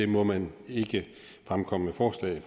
må man ikke fremkomme med forslag